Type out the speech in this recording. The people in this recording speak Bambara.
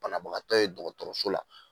Banabagatɔ ye dɔgɔtɔrɔso la